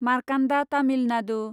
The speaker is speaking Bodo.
मार्कान्दा तामिल नादु